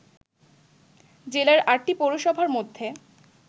জেলার ৮ পৌরসভার মধ্যে